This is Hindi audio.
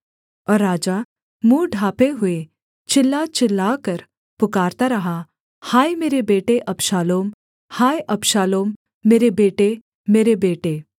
और राजा मुँह ढाँपे हुए चिल्ला चिल्लाकर पुकारता रहा हाय मेरे बेटे अबशालोम हाय अबशालोम मेरे बेटे मेरे बेटे